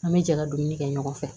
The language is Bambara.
An bɛ jɛ ka dumuni kɛ ɲɔgɔn fɛ